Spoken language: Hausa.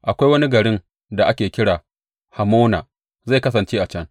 Akwai wani garin da ake kira Hamona zai kasance a can.